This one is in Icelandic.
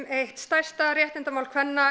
eitt stærsta réttindamál kvenna